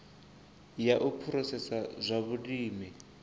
ya u phurosesa zwa vhulimi